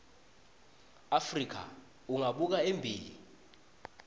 afrika ungabuka embili